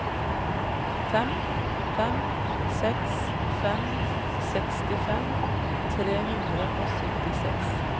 fem fem seks fem femtiseks tre hundre og syttiseks